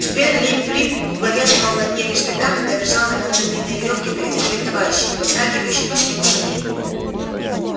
теперь лип лип главенствовал над ней лишь тогда когда бежал на конце длинной верёвки впереди своих товарищей и подскакивающих по снегу саней